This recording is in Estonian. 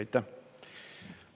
Aitäh!